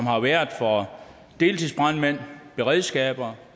har været for deltidsbrandmænd beredskaber